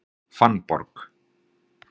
Fannborg